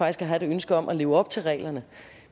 at have et ønske om at leve op til reglerne